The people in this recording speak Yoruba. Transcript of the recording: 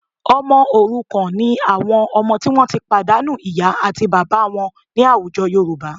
Ọmọ òrukàn ni àwọn ọmọ tí wọ́n ti pàdánù ìyá àti bàbá wọn ní àwùjọ Yorùbá